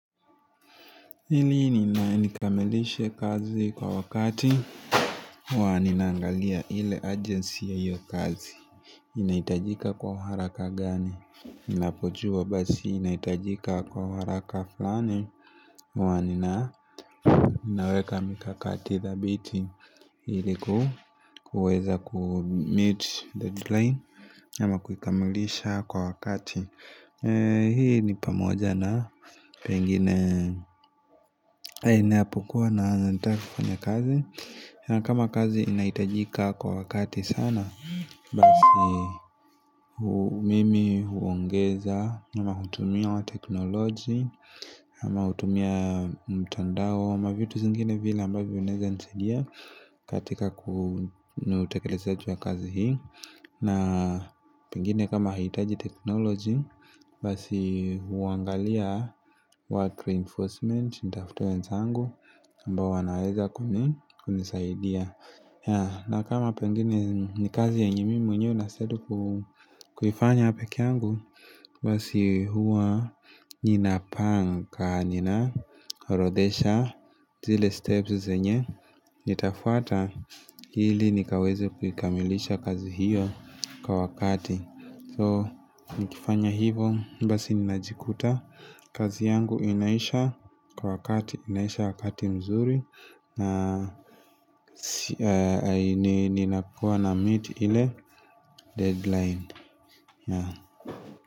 Hili nina nikamilishe kazi kwa wakati Waninaangalia hile agency ya hiyo kazi inaitajika kwa haraka gani Inapochua basi inaitajika kwa haraka fulani huwa ninaweka mikakati thabithi Hili kuweza kumeet deadline Yama kukamilisha kwa wakati Hili nipamoja na Pengine haineapukua na zantara kwenye kazi na kama kazi inaitajika kwa wakati sana Basi mimi huongeza Yama hutumia wa teknoloji Yama hutumia mtandao Yama vitu zingine vila ambavyo unaeza nisaidia katika kunutekelezaji kazi hii na pengine kama hitaji teknoloji Basi uangalia Work reinforcement nitafute wenzangu ambao wanaweza kumisaidia na kama pengine Nikazi yenye mimi mwenyewe naiskia kufanya peke yangu Basi huwa Ninapangaka Ninarodesha zile steps zenye Nitafuata Hili nikaweze kukamilisha kazi hiyo Kwa wakati So, nikifanya hivo, basi ninajikuta kazi yangu inaisha kwa wakati, inaisha wakati mzuri na, nina kuwa na meet ile deadline.